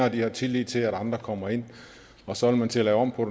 at de har tillid til at andre kommer ind og så vil man til at lave om på